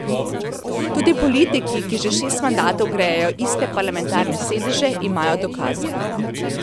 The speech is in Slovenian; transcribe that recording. Tudi politiki, ki že šest mandatov grejejo iste parlamentarne sedeže, imajo dokaze.